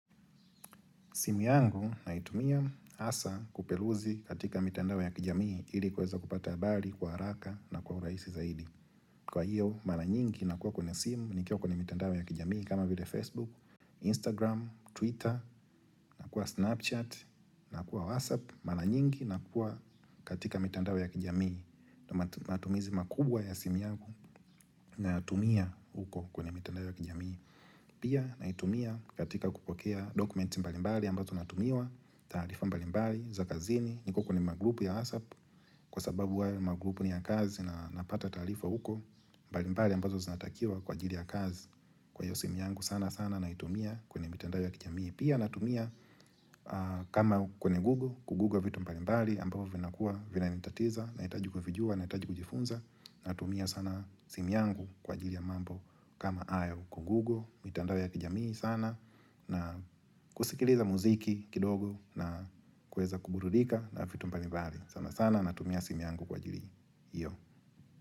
Simu yangu naitumia hasa kupeluzi katika mitando ya kijamii ili kuweza kupata habali, kwa haraka na kwa urahisi zaidi. Kwa hiyo, mara nyingi nakuwa kwenye simu nikiwa kwenye mitandao ya kijamii kama vile Facebook, Instagram, Twitter, na kuwa Snapchat, na kuwa WhatsApp, mala nyingi na kuwa katika mitandao ya kijamii. Matumizi makubwa ya simu yangu nayatumia huko kwenye mitandao ya kijamii. Pia naitumia katika kupokea dokumenti mbalimbali ambazo natumiwa taarifa mbalimbali za kazini niko kwenye magroup ya whatsapp Kwa sababu wale magroup ni ya kazi na napata taarifa huko mbalimbali ambazo zinatakiwa kwa ajiri ya kazi Kwa hivyo simu yangu sana sana naitumia kwenye mitandao ya kijamii Pia natumia kama kwenye google kuguga vitu mbalimbali ambazo vinakua vinanitatiza Nahitaji kuvijua nahitaji kujifunza Natumia sana simu yangu kwa ajili ya mambo kama hayo kugoogl mitandao ya kijamii sana na kusikiliza mziki kidogo na kueza kuburudika na fitu mbalimbali sana sana natumia simu yangu kwa ajili hiyo.